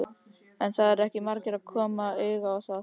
En það eru ekki margir sem koma auga á það.